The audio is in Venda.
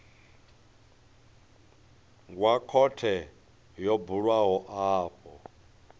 wa khothe yo bulwaho afho